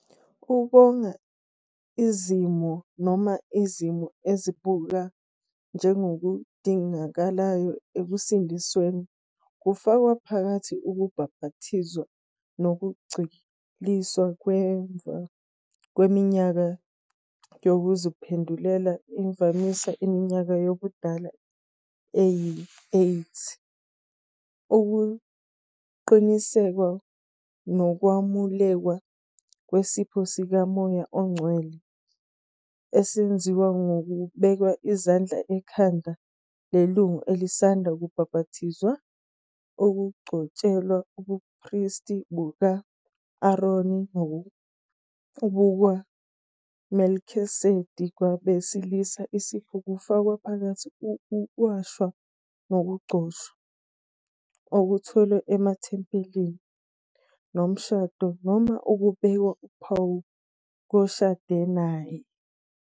Ukonga izimiso, noma izimiso ezibukwa njengokudingakalayo ekusindisweni, kufaka phakathi- ukubhaphathizwa ngokucwilisa ngemuva kweminyaka yokuziphendulela, imvamisa iminyaka yobudala eyi-8, ukuqinisekiswa nokwamukelwa kwesipho sikaMoya oNgcwele, esenziwa ngokubeka izandla ekhanda lelungu elisanda kubhapathizwa, ukugcotshelwa ubupristi buka -Aroni nobukaMelkisedeki kwabesilisa, isipho, kufaka phakathi ukuwashwa nokugcotshwa, okutholwe emathempelini, nomshado, noma ukubekwa uphawu, koshade naye.